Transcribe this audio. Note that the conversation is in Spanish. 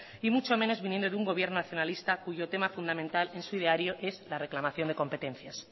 y mucho menos viniendo de un gobierno nacionalista cuyo tema fundamental en su ideario es la reclamación de competencias